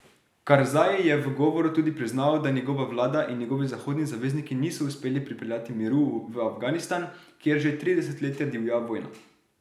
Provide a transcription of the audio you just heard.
Karzaj je v govoru tudi priznal, da njegova vlada in njeni zahodni zavezniki niso uspeli pripeljati miru v Afganistan, kjer že tri desetletja divja vojna.